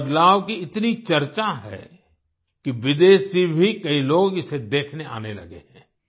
इस बदलाव की इतनी चर्चा है कि विदेश से भी कई लोग इसे देखने आने लगे हैं